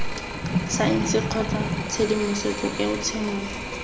saense kgotsa tshedimosetso eo tshenolo